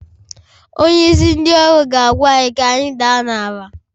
Onyeisi ndị ọrụ ga-agwa anyị ka anyị daa n'ala.